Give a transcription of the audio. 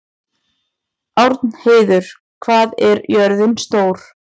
Árnheiður, hvað er jörðin stór?